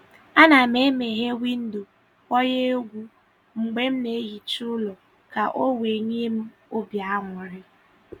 A na m e meghee windo, kpọnye egwu mgbe m na-ehicha ụlọ ka ọ wee nye m obi aṅụrị